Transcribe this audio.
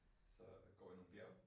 Så går i nogle bjerge